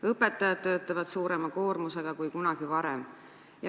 Õpetajad töötavad suurema koormusega kui kunagi varem.